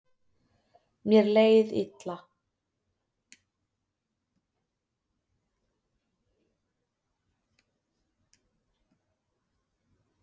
Mér leið illa